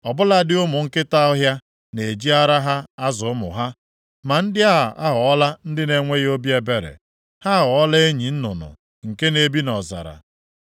Ọ bụladị ụmụ nkịta ọhịa na-eji ara ha azụ ụmụ ha, ma ndị a aghọọla ndị na-enweghị obi ebere; ha aghọọla enyi nnụnụ nke na-ebi nʼọzara.